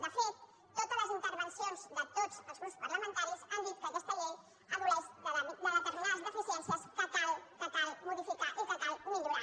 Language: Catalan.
de fet totes les intervencions de tots els grups parlamentaris han dit que aquesta llei pateix de determinades deficiències que cal modificar i que cal millorar